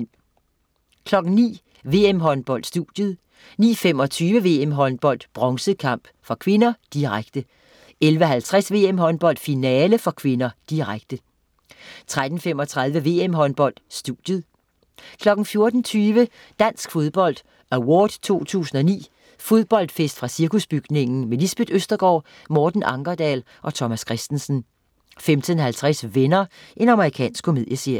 09.00 VM-Håndbold: Studiet 09.25 VM-Håndbold: Bronze kamp (k), direkte 11.50 VM-Håndbold: Finale (k), direkte 13.35 VM-Håndbold: Studiet 14.20 Dansk Fodbold Award 2009. Fodboldfest fra Cirkusbygningen. Lisbeth Østergaard, Morten Ankerdal og Thomas Kristensen 15.50 Venner. Amerikansk komedieserie